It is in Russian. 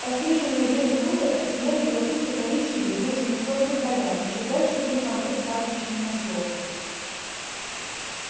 подстриженную зелень луга оттеняли золотисто коричневые выжженные солнцем поля ещё дальше были холмы с пастбищами на склонах